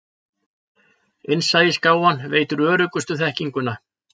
Innsæisgáfan veitir öruggustu þekkinguna.